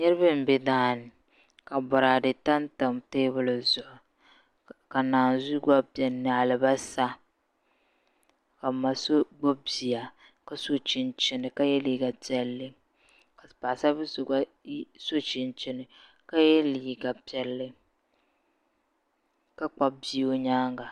Niraba n bɛ daani ka boraadɛ tamtam teebuli zuɣu ka naan zuhi gba biɛni ni alibarisa ka n ma so gbubi bia ka so chinchini ka yɛ liiga piɛlli ka paɣasari bili so gba so chinchin ka yɛ liiga piɛlli ka kpabi bia o nyaanga